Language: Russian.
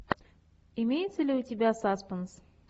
имеется ли у тебя саспенс